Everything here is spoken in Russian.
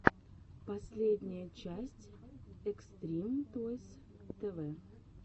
последняя часть экстрим тойс тэ вэ